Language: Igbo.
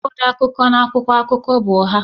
Ụfọdụ akụkọ na akwụkwọ akụkọ bụ ụgha